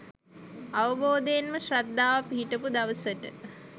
අවබෝධයෙන්ම ශ්‍රද්ධාව පිහිටපු දවසට